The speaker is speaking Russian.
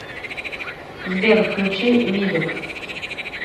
сбер включи видек